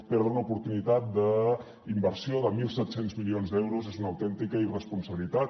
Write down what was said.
perdre una oportunitat d’inversió de mil set cents milions d’euros és una autèntica irresponsabilitat